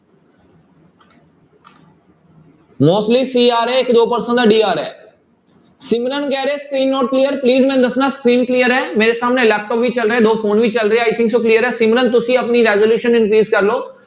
mostly c ਆ ਰਿਹਾ ਇੱਕ ਦੋ person ਦਾ d ਆ ਰਿਹਾ ਹੈ, ਸਿਮਰਨ ਕਹਿ ਰਿਹਾ screen not clear please ਮੈਨੂੰ ਦੱਸਣਾ screen clear ਹੈ ਮੇਰੇ ਸਾਹਮਣੇ ਲੈਪਟਾਪ ਵੀ ਚੱਲ ਰਿਹਾ ਹੈ, ਦੋ phone ਵੀ ਚੱਲ ਰਹੇ ਆ i think ਸੋ clear ਹੈ ਸਿਮਰਨ ਤੁਸੀਂ ਆਪਣੀ resolution increase ਕਰ ਲਓ।